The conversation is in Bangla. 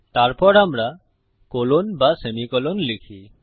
তারপর আমরা কোলন বা সেমি কোলন লিখি